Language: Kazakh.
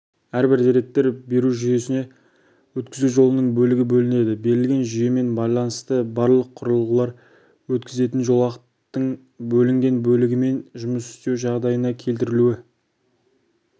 әрбір деректер беру жүйесіне өткізу жолының бөлігі бөлінеді берілген жүйемен байланысты барлық құрылғылар өткізетін жолақтың бөлінген бөлігімен жұмыс істеу жағдайына келтірілуі